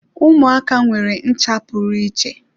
Ụmụaka nwere ncha pụrụ iche.